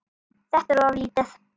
Þetta er of lítið.